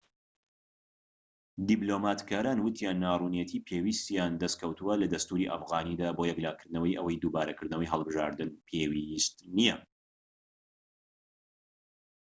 دیبلۆماتکاران وتیان ناڕوونێتی پێویستیان دەستکەوتووە لە دەستوری ئەفغانیدا بۆ یەکلاکردنەوەی ئەوەی دووبارەکردنەوەی هەڵبژاردن پێویست نیە